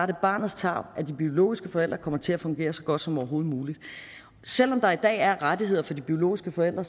det barnets tarv at de biologiske forældre kommer til at fungere så godt som overhovedet muligt selv om der i dag er rettigheder for de biologiske forældre